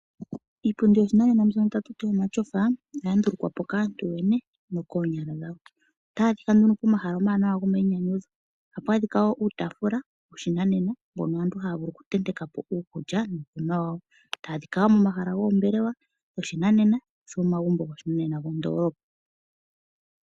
Iipundi yoshinanena mbyono ha ku tiwa omatyofa ohaga ndulukwa po kaantu yoyene koonyala dhawo. Ohayi adhika pomahala omawanawa gomainyanyudho. Ohapu adhika wo uutaafula woshinanena mpono aantu haya vulu oku tenteka po uukulya nuukunwa wawo. Otawu adhika wo momahala goombelewa goshinanena osho wo omagumbo goshinanena mondoolopa.